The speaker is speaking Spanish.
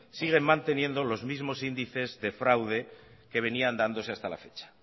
siguen manteniendo los mismo índices de fraude que venían dándose hasta la fecha